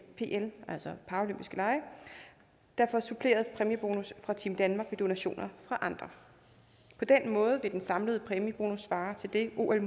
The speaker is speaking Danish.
pl altså paraolympiske lege der får suppleret præmiebonus fra team danmark ved donationer fra andre på den måde vil den samlede præmiebonus svare til det ol